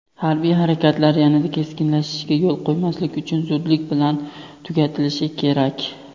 Harbiy harakatlar yanada keskinlashishiga yo‘l qo‘ymaslik uchun zudlik bilan tugatilishi kerak.